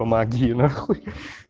помоги нахуй